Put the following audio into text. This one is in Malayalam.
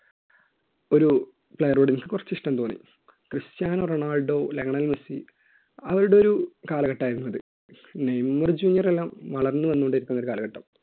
ഒരു player ട് കുറച്ച് ഇഷ്ടം തോന്നി ക്രിസ്റ്റ്യാനോ റൊണാൾഡോ ലയണൽ മെസ്സി അവരുടെ ഒരു കാലഘട്ടമായിരുന്നു അത് നെയ്മർ ജൂനിയർ എല്ലാം വളർന്നു വന്നു കൊണ്ടിരിക്കുന്ന ഒരു കാലഘട്ടം.